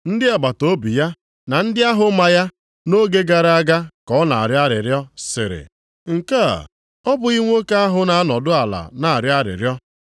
Ndị agbataobi ya na ndị nʼahụ ya nʼoge gara aga ka ọ na-arịọ arịrịọ sịrị, “Nke a, ọ bụghị nwoke ahụ na-anọdụ ala na-arịọ arịrịọ?”